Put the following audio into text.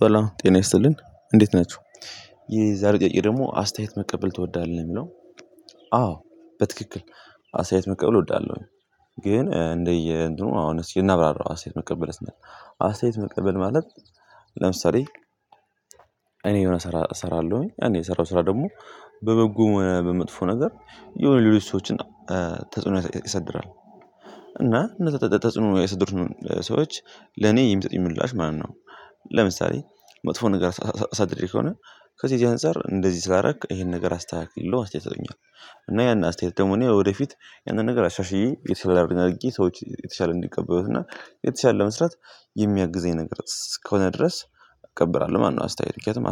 በላው ጤናይስጥልን እንዴት ናችው? የዛሬ ጥያቄ ደግሞ አስተያየት መቀበል ትወዳለህ የሚለው አዎ በትክክል አስተያየት መቀበል እወዳለሁኝ። ግን እንደየ እንትኑ አሁን እስቲ እናብራራው አሳይት መቀበል ስንል አስተያየት መቀበል ማለት ለምሳሌ እኔ የሆነ ስራ እሰራለሁኝ እኔ የሰራው ስራ ደግሞ በበጎ ሆነ በመጥፎ ነገር የሆነ ሌሎች ሰዎችን ተጽዕኖ ይሳድራል እና እነዛ ተጽዕኖ የሳደሩ ሰዎች ለኔ የሚሰጥኝ ምላሽ ማለት ነው። ለምሳሌ መጥፎ ነገር ኣስድሬ ከሆነ ከዚህ የዚህ አንፃር እንደዚህ ስላረክ ይሄን ነገር አስተካክል ብለው አስተያየት ይሰጡኛል እና ያን አስተያየት ደግሞ እኔ ወደፊት ያንን ነገር አሻሽዬ የተሻለ ነገር ኣርጌ ሰዎች የተሻለ እንዲቀበሉት እና የተሻለ ለመስራት የሚያግዘኝ ነገር እስከሆነ ድረስ እቀበራለሁ። ማነው አስተያየት ምክንያቱም